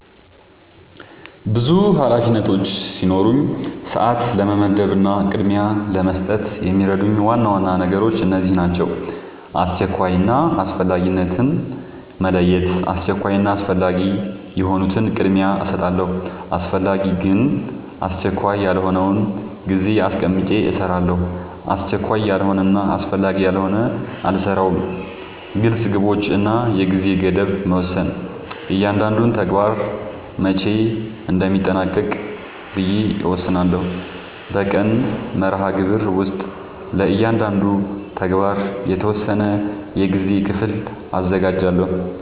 ብዙ ኃላፊነቶች ሲኖሩኝ ሰዓት ለመመደብ እና ቅድሚያ ለመስጠት የሚረዱኝ ዋና ዋና ነገሮች እነዚህ ናቸው :-# አስቸኳይ እና አስፈላጊነትን መለየት:- አስቸኳይ እና አስፈላጊ የሆኑትን ቅድሚያ እሰጣለሁ አስፈላጊ ግን አስቸካይ ያልሆነውን ጊዜ አስቀምጨ እሰራለሁ አስቸካይ ያልሆነና አስፈላጊ ያልሆነ አልሰራውም # ግልፅ ግቦች እና የጊዜ ገደብ መወሰን እያንዳንዱን ተግባር መቼ እንደሚጠናቀቅ ብዬ እወስናለሁ በቀን መርሃግብር ውስጥ ለእያንዳንዱ ተግባር የተወሰነ የጊዜ ክፍል አዘጋጃለሁ